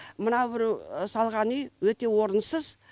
мына біреу салған үй өте орынсыз